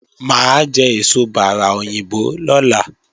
Mà á jẹ èso bárà òyìnbó lọ́la